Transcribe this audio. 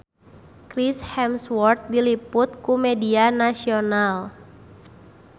Chris Hemsworth diliput ku media nasional